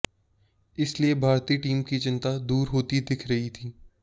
इसलिए भारतीय टीम की चिंता दूर होती दिख रही थी